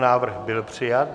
Návrh byl přijat.